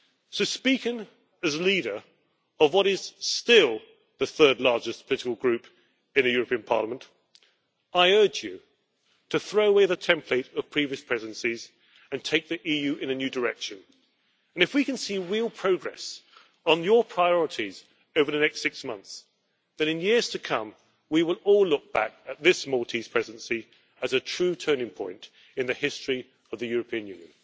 So, speaking as leader of what is still the third largest political group in the European Parliament, I urge you to throw away the template of previous presidencies and take the EU in a new direction. And if we can see real progress on your priorities over the next six months, then in years to come we will all look back at this Maltese Presidency as a true turning point in the history of the European Union.